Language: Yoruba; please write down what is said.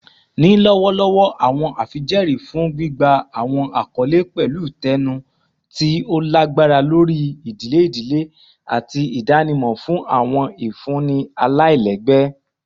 Ni lọwọlọwọ, awọn afijẹẹri fun gbigba awọn akọle pẹlu tcnu ti o lagbara lori idile idile ati idanimọ fun awọn ifunni alailẹgbẹ